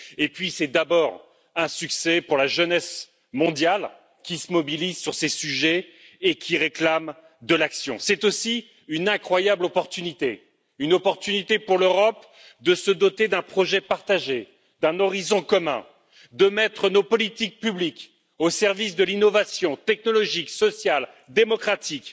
Et puis c'est un succès pour la jeunesse mondiale qui se mobilise sur ces sujets et qui réclame de l'action. C'est aussi une incroyable opportunité, une opportunité pour l'Europe de se doter d'un projet partagé, d'un horizon commun, de mettre nos politiques publiques au service de l'innovation technologique, sociale, démocratique,